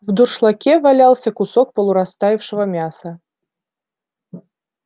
в дуршлаге валялся кусок полурастаявшего мяса